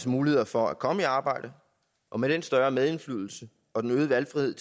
muligheder for at komme i arbejde og med den større medindflydelse og den øgede valgfrihed